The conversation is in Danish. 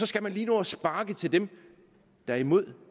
skal nå at sparke til dem der er imod